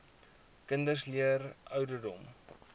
kinders leer ouderdom